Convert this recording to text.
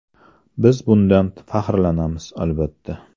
Biz bundan faxrlanamiz, albatta”.